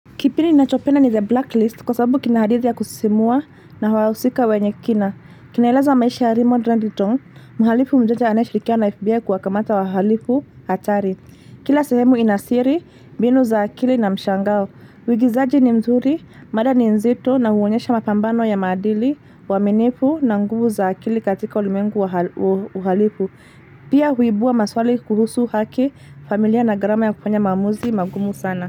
Kipindi ninachopenda ni The BlackList kwa sababu kina hadithi ya kusisimua na wahusika wenye kina. Kinaeleza maisha Raymond Reddington, mhalifu mjanja anayeshirikiana na FBI kuwakamata wahalifu hatari. Kila sehemu ina siri, mbinu za akili na mshangao. Uigizaji ni mzuri, mada ni nzito na huonyesha mapambano ya maadili, uaminifu na nguvu za akili katika ulimwengu wa uhalifu. Pia huibua maswali kuhusu haki, familia na gharama ya kufanya maamuzi magumu sana.